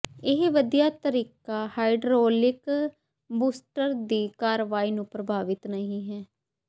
ਇਹ ਵਧੀਆ ਤਰੀਕਾ ਹਾਈਡ੍ਰੌਲਿਕ ਬੂਸਟਰ ਦੀ ਕਾਰਵਾਈ ਨੂੰ ਪ੍ਰਭਾਵਿਤ ਨਹੀ ਹੈ